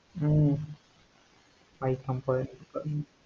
உம்